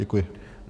Děkuji.